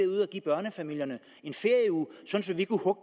give børnefamilierne